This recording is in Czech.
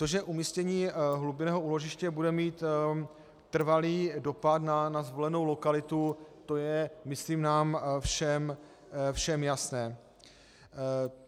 To, že umístění hlubinného úložiště bude mít trvalý dopad na zvolenou lokalitu, to je myslím nám všem jasné.